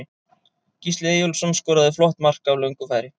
Gísli Eyjólfsson skoraði flott mark af löngu færi.